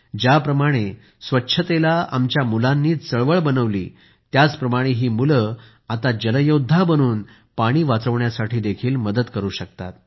ज्याप्रमाणे स्वच्छतेला आमच्या मुलांनीच आंदोलन बनवले त्याचप्रमाणे ही मुले आता जल योद्धा बनून पाणी वाचविण्यासाठी मदत करू शकतात